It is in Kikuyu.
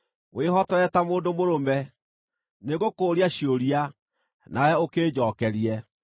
Wĩhotore ta mũndũ mũrũme; nĩngũkũũria ciũria, nawe ũkĩnjookerie.